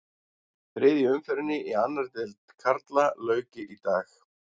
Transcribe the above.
Þriðju umferðinni í annarri deild karla lauk í dag.